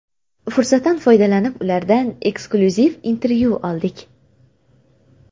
Fursatdan foydalanib, ulardan eksklyuziv intervyu oldik.